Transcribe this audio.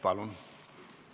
Palun!